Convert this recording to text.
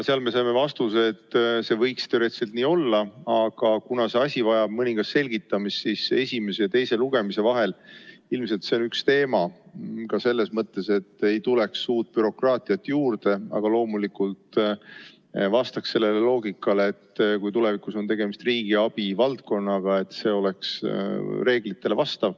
Seal me saime vastuse, et see võiks teoreetiliselt nii olla, aga kuna see asi vajab mõningast selgitamist, siis esimese ja teise lugemise vahel on see ilmselt üks teema ka selles mõttes, et ei tuleks bürokraatiat juurde, aga loomulikult oleks see loogika, et kui tulevikus on tegemist riigiabi valdkonnaga, siis see vastaks reeglitele.